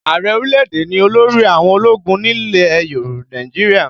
Ààrẹ orílẹ̀-èdè ni olórí àwọn ológun nílẹ̀ Nàìjíríà